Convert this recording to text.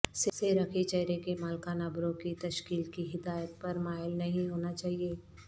سہ رخی چہرے کے مالکان ابرو کی تشکیل کی ہدایت پر مائل نہیں ہونا چاہئے